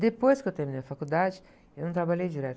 Depois que eu terminei a faculdade, eu não trabalhei direto.